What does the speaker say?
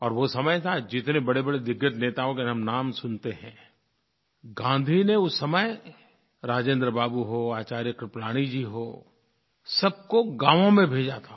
और वो समय था जितने बड़ेबड़े दिग्गज नेताओं के हम नाम सुनते हैं गाँधी ने उस समय राजेंद्र बाबू हों आचार्य कृपलानी जी हों सबको गाँवों में भेजा था